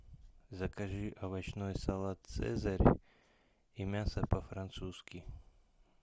закажи овощной салат цезарь и мясо по французски